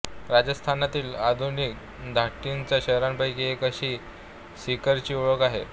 राजस्थानातील आधुनिक धाटणीच्या शहरांपैकी एक अशी सिकरची ओळख आहे